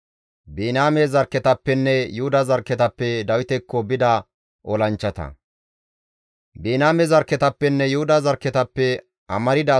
Biniyaame zarkketappenne Yuhuda zarkketappe amarda asati Dawiti dizaso miixa yida.